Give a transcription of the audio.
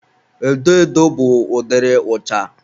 edo edo bụ ụdịrị ụcha.